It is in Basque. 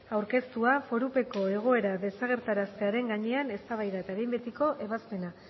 aurkeztua forupeko egoera desagerraraztearen gainean eztabaida eta behin betiko ebazpena